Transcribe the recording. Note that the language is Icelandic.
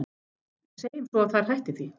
En segjum svo að þær hætti því?